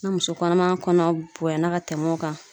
Na muso kɔnɔman kɔnɔ bonya na ka tɛmɛ o kan